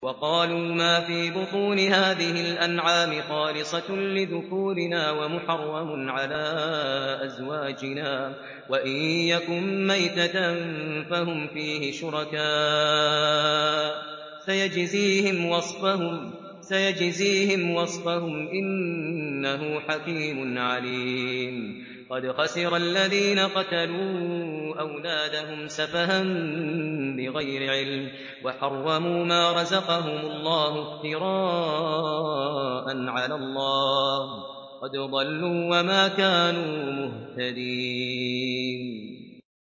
وَقَالُوا مَا فِي بُطُونِ هَٰذِهِ الْأَنْعَامِ خَالِصَةٌ لِّذُكُورِنَا وَمُحَرَّمٌ عَلَىٰ أَزْوَاجِنَا ۖ وَإِن يَكُن مَّيْتَةً فَهُمْ فِيهِ شُرَكَاءُ ۚ سَيَجْزِيهِمْ وَصْفَهُمْ ۚ إِنَّهُ حَكِيمٌ عَلِيمٌ